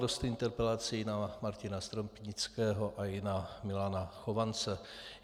Dost interpelací bylo na Martina Stropnického a i na Milana Chovance.